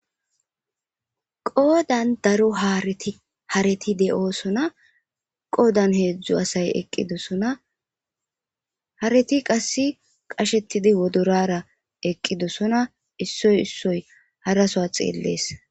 qoodan daro hareti hareti de7oosona qoodan heedzdzu asay eqqidosona hareti qasse qashettidi wodorara eqqidosona issoy issoy harasoa xeellees